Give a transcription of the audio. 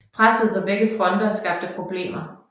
Presset fra begge fronter skabte problemer